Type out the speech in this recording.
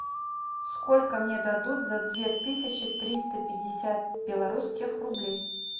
сколько мне дадут за две тысячи триста пятьдесят белорусских рублей